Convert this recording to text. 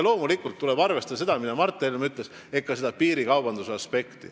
Loomulikult tuleb arvestada ka seda, mida ütles Mart Helme, ehk piirikaubanduse aspekti.